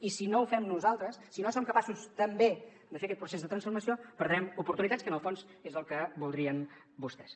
i si no ho fem nosaltres si no som capaços també de fer aquest procés de transformació perdrem oportunitats que en el fons és el que voldrien vostès